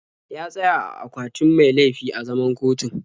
Ya tsaya a akwatin mai laifi a zaman kotun.